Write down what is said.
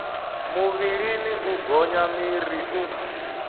muvhilini u gonya miri u